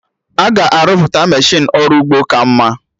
Aga arụpụta Meshịnụ ọrụ ugbo ka mma